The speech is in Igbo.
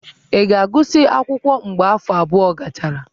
Ị ga-agụsị akwụkwọ mgbe afọ abụọ gachara?